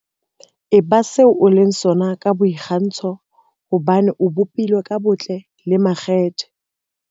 Eba se o leng sona ka boikgantsho hobane o bopilwe ka botle le makgethe.